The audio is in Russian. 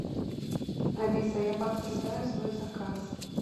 алиса я подтверждаю свой заказ